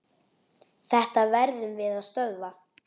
Þetta verðum við að stöðva.